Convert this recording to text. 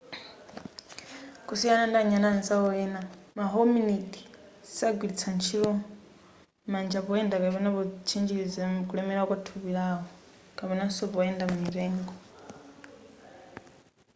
kusiyana ndi anyani anzawo ena ma hominid sagwilitsanso ntchito manja poyenda kapena potchinjiliza kulemela kwa nthupi lawo kapenanso poyenda m'mitengo